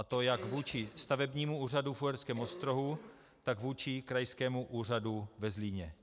A to jak vůči stavebnímu úřadu v Uherském Ostrohu, tak vůči krajskému úřadu ve Zlíně.